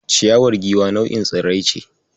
Ciyawar Giwa nau'in tsirrai ce.